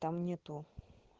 там нету